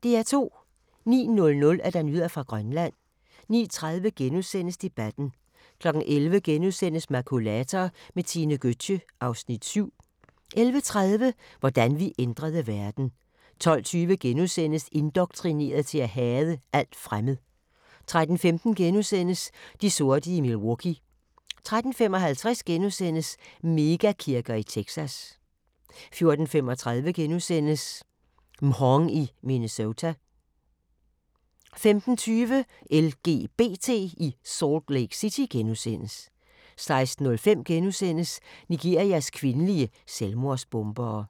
09:00: Nyheder fra Grønland 09:30: Debatten * 11:00: Makulator med Tine Gøtzsche (Afs. 7)* 11:30: Hvordan vi ændrede verden! 12:20: Indoktrineret til at hade alt fremmed * 13:15: De sorte i Milwaukee * 13:55: Mega-kirker i Texas * 14:35: Mhong i Minnesota * 15:20: LGBT i Salt Lake City * 16:05: Nigerias kvindelige selvmordsbombere *